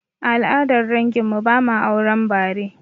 A al'adar dangin mu, ba ma auren bare